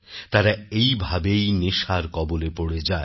তারা এইভাবেই এই নেশার কবলে পড়ে যায়